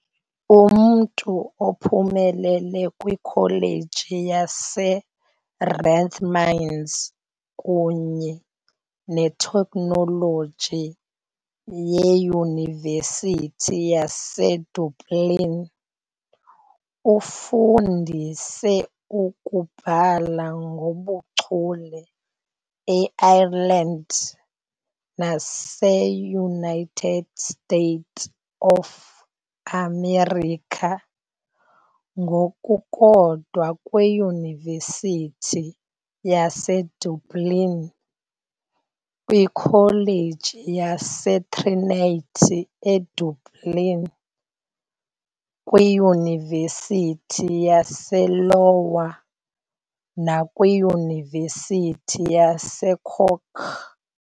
Umntu ophumelele kwiKholeji yaseRathmines kunye neTekhnoloji yeYunivesithi yaseDublin, ufundise ukubhala ngobuchule e-Ireland nase-United States of America, ngokukodwa kwiYunivesithi yaseDublin, kwiKholeji yaseTrinity eDublin, kwiYunivesithi yase-Iowa, nakwiYunivesithi yaseCork .